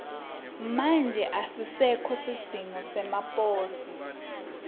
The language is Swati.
manje asisekho sidzingo semaposi